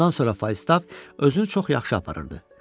Bundan sonra Faistav özünü çox yaxşı aparırdı.